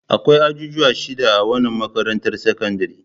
Akwai ajujuwa shida a wannan makarantar sakandare.